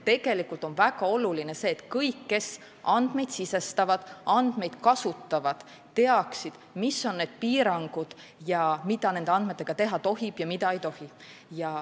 Tegelikult on väga oluline, et kõik, kes andmeid sisestavad ja kasutavad, teaksid, mis on need piirangud ning mida nende andmetega teha tohib ja mida ei tohi.